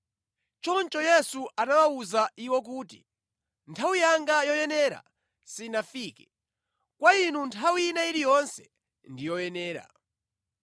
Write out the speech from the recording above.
Choncho Yesu anawawuza iwo kuti, “Nthawi yanga yoyenera sinafike; kwa inu nthawi ina iliyonse ndi yoyenera.